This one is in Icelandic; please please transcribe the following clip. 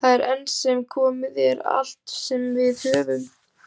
Það er enn sem komið er allt sem við höfum.